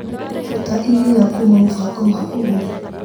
Ruta iria kuma mũbango wa ũgũri .